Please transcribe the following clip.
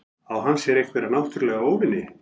Á hann sér einhverja náttúrulega óvini?